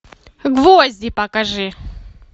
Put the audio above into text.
гвозди покажи